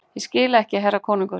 Ég skil ekki herra konungur!